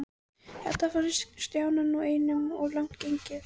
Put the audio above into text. Þetta fannst Stjána nú einum of langt gengið.